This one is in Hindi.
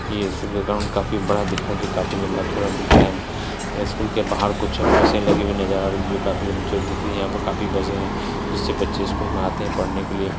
ये सूबा ग्राउंड काफी बड़ा दिख रहा है जो काफ़ी लम्बा-चौड़ा दिख रहा है स्कूल के बाहर कुछ मशीन लगी हुई नज़र आ रही है जो काफी लम्बा-चौड़ा दिख रही है यहाँ पे काफी बसे हैं जिससे बच्चे स्कूल में आते हैं पढ़ने के लिए।